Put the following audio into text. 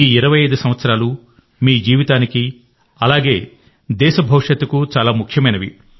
ఈ 25 సంవత్సరాలు మీ జీవితానికి అలాగే దేశ భవిష్యత్తుకు చాలా ముఖ్యమైనవి